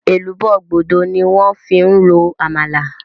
Èlùbọ́ gbódo ni wón fi ń ro Àmàlà